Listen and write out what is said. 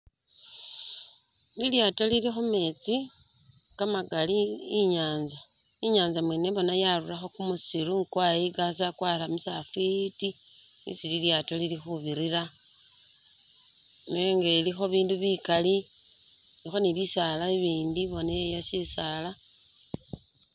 Lilyato lili khumeetsi, kamakali inyatsa inyatsa mwene boa yarulakho kumusiru kwayikasa kwaramisa khafiti isi lilyaato lili khubirila nenga ilikho bindu bikali khuliko ni bisaala boneyo shisaala